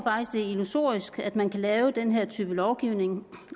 det er illusorisk at man kan lave den her type lovgivning